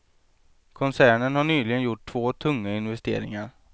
Koncernen har nyligen gjort två tunga investeringar.